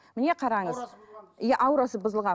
мені қараңыз иә аурасы бұзылған иә аурасы бұзылған